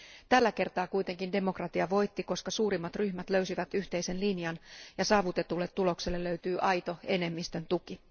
Tällä kertaa kuitenkin demokratia voitti, koska suurimmat ryhmät löysivät yhteisen linjan ja saavutetulle tulokselle löytyy aito enemmistön tuki.